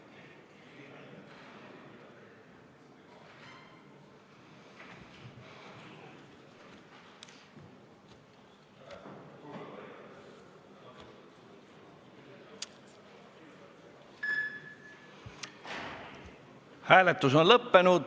Hääletustulemused Hääletus on lõppenud.